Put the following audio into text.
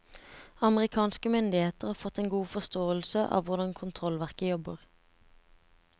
Amerikanske myndigheter har fått en god forståelse av hvordan kontrollverket jobber.